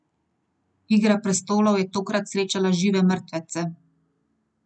Igra prestolov je tokrat srečala Žive mrtvece.